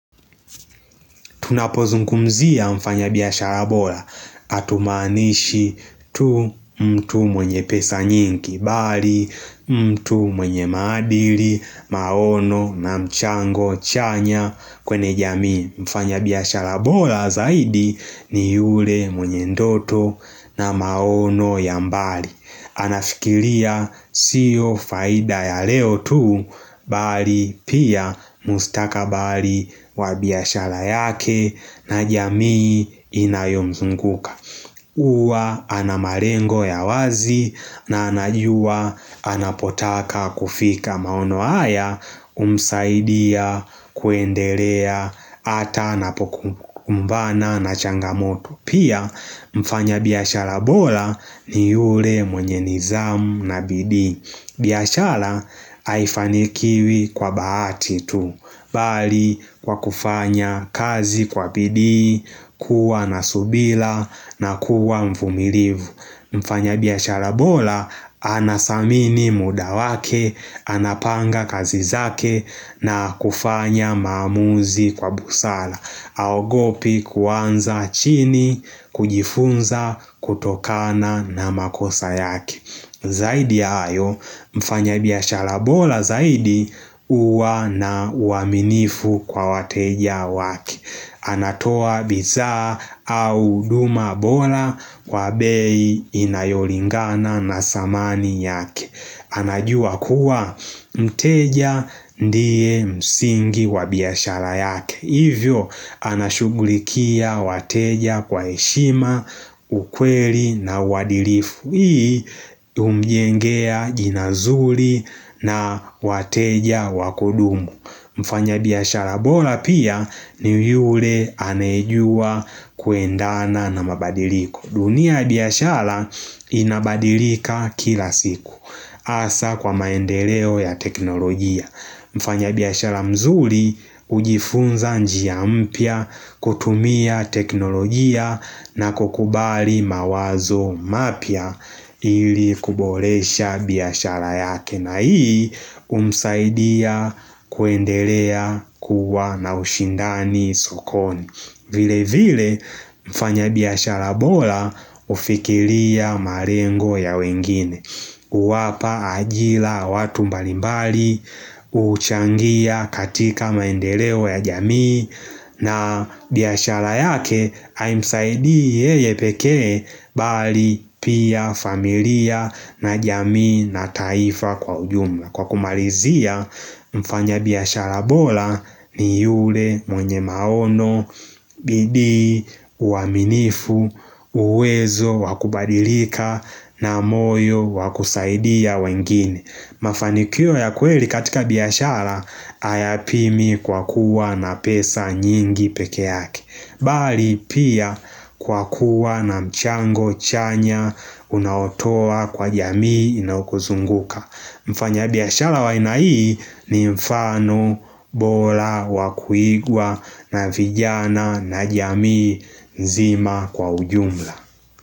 Tunapozungumzia mfanya biashara bora. Hatumaanishi tu mtu mwenye pesa nyingi. Bali mtu mwenye maadili, maono na mchango chanya. Kwenye jamii mfanya biashara bora zaidi ni yule mwenye ndoto na maono ya mbali. Anafikiria sio faida ya leo tu bali pia mustakabali wa biashara yake na jamii inayomzunguka Uwa ana malengo ya wazi na anajua anapotaka kufika maono haya umsaidia kuendelea ata anapokumbana na changamoto Pia mfanya biashala bora ni yule mwenye nizamu na bidii biashara haifanikiwi kwa bahati tu Bali kwa kufanya kazi kwa bidii kuwa nasubira na kuwa mvumilivu Mfanya biashara bora anadhamini muda wake Anapanga kazi zake na kufanya maamuzi kwa busara haogopi kuuanza chini kujifunza kutokana na makosa yake Zaidi ya hayo mfanya biashara bora zaidi uwa na uaminifu kwa wateja wake anatoa bidhaa au huduma bora kwa bei inayolingana na dhamani yake anajua kuwa mteja ndiye msingi wa biashara yake Hivyo anashughulikia wateja kwa heshima, ukweli na uadhilifu Hii umjengea jina zuri na wateja wa kudumu Mfanya biiashara bora pia ni yule anejua kuendana na mabadiliko dunia ya biashara inabadilika kila siku Asa kwa maendeleo ya teknolojia Mfanya biashara mzuri hujifunza njia mpya kutumia teknolojia na kukubali mawazo mapya ili kuboresha biashara yake na hii umsaidia kuendelea kuwa na ushindani sokoni. Vile vile mfanya biashara bora ufikiria malengo ya wengine Uwapa ajira watu mbalimbali uchangia katika maendeleo ya jamii na biashara yake haimsaidi yeye pekee bali pia familia na jamii na taifa kwa ujumla Kwa kumalizia mfanya biashara bora ni yule mwenye maono, bidi, uaminifu, uwezo, wa kubadilika, na moyo, wakusaidia wengine Mafanikio ya kweli katika biashara ayapimi kwa kuwa na pesa nyingi pekee yake Bali pia kwa kuwa na mchango chanya unaotoa kwa jamii inayo kuzunguka Mfanya biashara wa aina hii ni mfano bora wa kuigwa na vijana na jamii nzima kwa ujumla.